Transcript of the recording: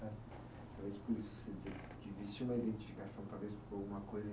Talvez por isso você dizia que existe uma identificação, talvez por uma coisa